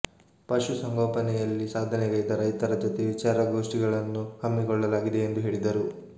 ಪಶು ಸಂಗೋಪನೆಯಲ್ಲಿ ಸಾಧನೆಗೈದ ರೈತರ ಜತೆ ವಿಚಾರಗೋಷ್ಠಿಗಳನ್ನು ಹಮ್ಮಿಕೊಳ್ಳಲಾಗಿದೆ ಎಂದು ಹೇಳಿದರು